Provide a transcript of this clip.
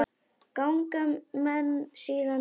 Ganga menn síðan til búða.